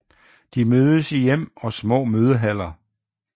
De mødes i hjem og i små mødehaller